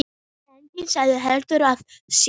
Enginn sagði heldur af sér.